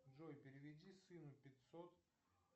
джой переведи сыну пятьсот